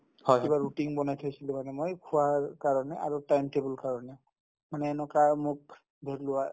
কিবা routine বনাই থৈছিলো মানে মই খোৱাৰ কাৰণে আৰু time table ৰ কাৰণে মানে এনেকুৱা মোক